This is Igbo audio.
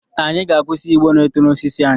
Anyị ga-akwụsị igbo na-eto na osisi anyị.